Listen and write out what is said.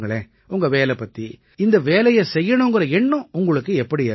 உங்க வேலை பத்தி இந்த வேலையை செய்யணுங்கற எண்ணம் உங்களுக்கு எப்படி ஏற்பட்டிச்சு